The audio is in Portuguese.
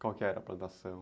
Qual que era a plantação?